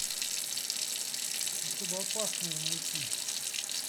особо опасные найти